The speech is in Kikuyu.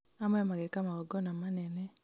amwe mageka magongona manene